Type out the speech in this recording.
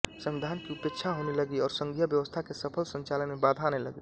संविधान की उपेक्षा होने लगी और संघीय व्यवस्था के सफल संचालन में बाधा आने लगी